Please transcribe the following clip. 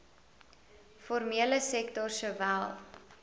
formele sektor sowel